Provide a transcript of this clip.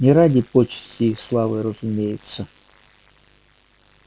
не ради почестей и славы разумеется